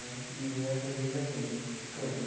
E essa é a origem da gente, o campo.